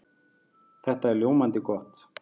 Það er ljómandi gott!